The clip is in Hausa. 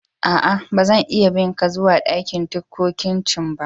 Aa, ba zan iya bin ka zuwa ɗakin ticcocin ba.